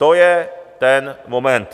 To je ten moment.